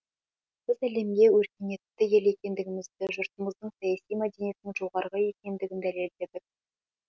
біз әлемге өркениетті ел екендігімізді жұртымыздың саяси мәдениетінің жоғары екендігін дәлелдедік